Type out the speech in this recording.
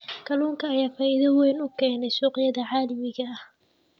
Kalluunka ayaa faa'iido weyn u keenaya suuqyada caalamiga ah.